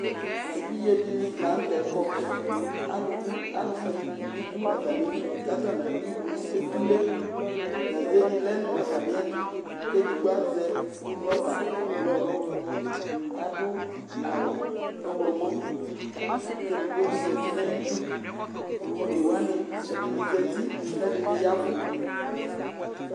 Evidze dɩnɩ la nʋ tɛ kɔ Alʋ bɩ alʋwɩnɩ bɩ dʋ atamɩli kʋ atanɩ adʋ ivu nʋ etule Gaze dɩ lɛ nʋ atamɩɛtʋ kʋ edigbo azɛ rɔba ɛblɔ kʋ adʋ awʋ ɔɣlɔmɔ kʋ edigbo bɩ zati nʋ ayidu One wanɩ, ɛdɩnɩ zati kʋ ɛdɩnɩ ya ɛvʋ